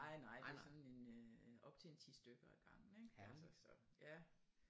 Nej nej det er sådan en øh op til en 10 stykker af gangen ikke altså så ja